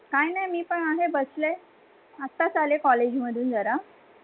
काही नाही मी पण अहे बसले, आताच आले College मधुन जरा.